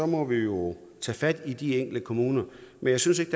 må vi jo tage fat i de enkelte kommuner men jeg synes ikke